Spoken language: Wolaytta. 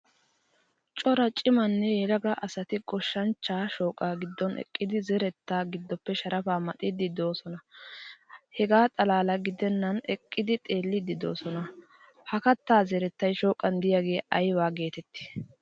Cora cimanne yelaga asati goshshanchcha shoqqaa giddon eqqidi zeretta gidoppe sharafa maxidi deosona. Hegaa xalala gidenan eqqidi xeelidi deosona. Ha katta zerettay shoqqan deiyage ayba geetetti?